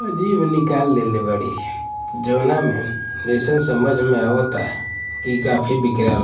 अ जीभ निकाल लेले बाड़ी जावना में जइसन समझ में आवता इ काफी बिकलां--